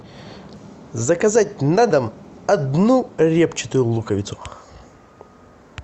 заказать на дом одну репчатую луковицу